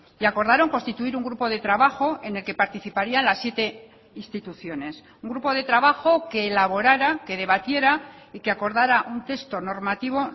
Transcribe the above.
y acordaron constituir un grupo de trabajo en el que participarían las siete instituciones un grupo de trabajo que elaborara que debatiera y que acordara un texto normativo